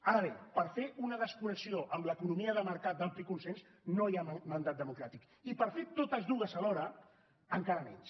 ara bé per fer una desconnexió amb l’economia de mercat d’ampli consens no hi ha mandat democràtic i per fer totes dues alhora encara menys